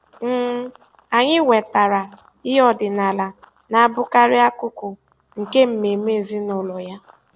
um Anyị wetara ihe ọdịnala na-abụkarị akụkụ nke mmemme ezinụlọ ya.